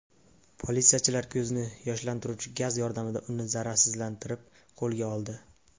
Politsiyachilar ko‘zni yoshlantiruvchi gaz yordamida uni zararsizlantirib, qo‘lga oldi.